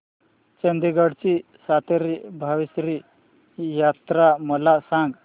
चंदगड ची सातेरी भावेश्वरी यात्रा मला सांग